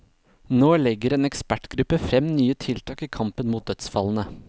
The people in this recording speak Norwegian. Nå legger en ekspertgruppe frem nye tiltak i kampen mot dødsfallene.